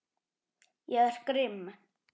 Ég er grimm.